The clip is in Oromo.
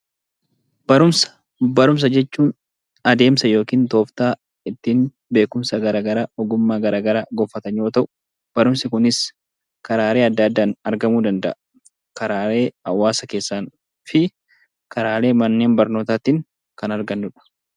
Barumsa Barumsa jechuun adeemsa yookiin tooftaa ittiin beekumsa gara garaa, ogummaa gara garaa gonfatan yoo ta'u, barumsi kunis karaalee adda addaan argamuu danda'a. Karaalee hawaasa keessaan fi karaalee manneen barnootaatiin kan argannu dha.